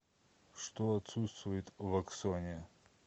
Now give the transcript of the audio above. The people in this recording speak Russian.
что отсутствует в аксоне